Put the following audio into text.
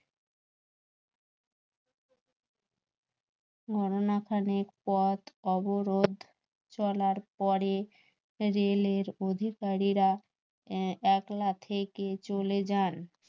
খানেক পথ অবরোধ চলার পরে রেলের অধিকারীরা একলা থেকে চলে যান